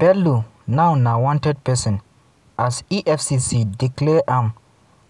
bello now na wanted person as efcc declare am